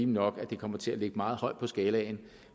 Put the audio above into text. nok at det kommer til at ligge meget højt på skalaen